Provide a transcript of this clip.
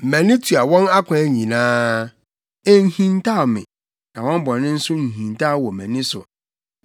Mʼani tua wɔn akwan nyinaa; enhintaw me, na wɔn bɔne nso nhintaw wɔ mʼani so.